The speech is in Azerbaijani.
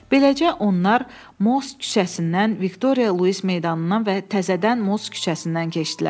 Beləcə onlar Mos küçəsindən Viktoriya Luiz meydanından və təzədən Mos küçəsindən keçdilər.